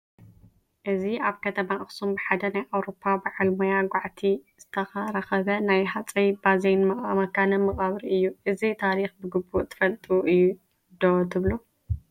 እዚ ኣብ ከተማ ኣኽሱም ብሓደ ናይ ኣውሮፓ በዓል ሞያ ጓዕቲ ዝተረኸበ ናይ ሃፀይ ባዜን መካነ መቓብር እዩ፡፡ እዚ ታሪክ ብግቡእ ተፋሊጡ እዩ ዶ ትብሉ?